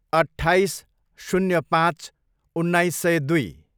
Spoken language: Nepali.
अट्ठाइस, शून्य पाँच, उन्नाइस सय दुई